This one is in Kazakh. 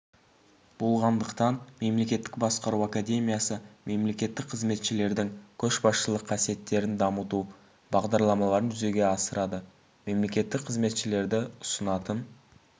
болғандықтан мемлекеттік басқару академиясы мемлекеттік қызметшілердің көшбасшылық қасиеттерін дамыту бағдарламаларын жүзеге асырады мемлекеттік қызметшілерді ұсынатын